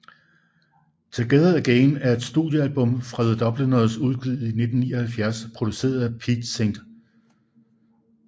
Together Again er et studiealbum af The Dubliners udgivet i 1979 produceret af Pete St